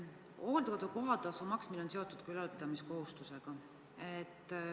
Hooldekodu kohatasu maksmine on seotud ka ülalpidamiskohustusega.